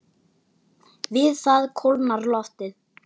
Við það kólnar loftið.